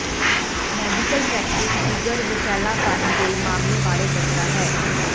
medical practice ਜਿਗਰ ਵਸ਼ੈਲਾਪਣ ਦੇ ਮਾਮਲੇ ਬਾਰੇ ਦੱਸਦਾ ਹੈ